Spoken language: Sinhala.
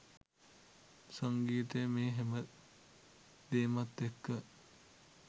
සංගීතය මේ හැම දේමත් එක්ක